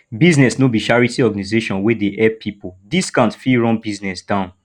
business no be charity organization wey dey help pipo discount fit run business down